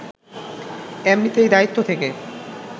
এমনিতেই দায়িত্ব থেকে